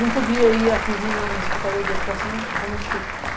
Não podia ir aqui vir na Secretaria da Educação, que é a Zona Sul.